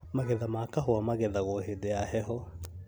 Magetha ma kahũa magethagwo hĩndĩ ya heho